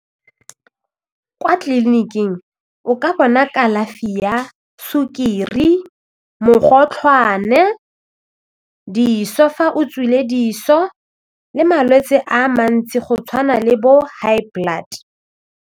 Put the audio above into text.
Kwa tleliniking o ka bona kalafi ya sukiri, mogotlhwane, diso fa o tswile dithuso le malwetse a mantsi go tshwana le bo high blood.